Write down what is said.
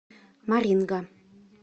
маринга